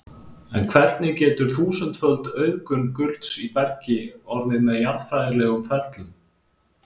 en hvernig getur þúsundföld auðgun gulls í bergi orðið með jarðfræðilegum ferlum